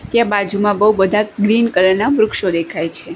ત્યાં બાજુમાં બઉ બધા ગ્રીન કલર ના વૃક્ષો દેખાય છે.